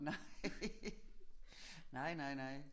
Nej nej nej nej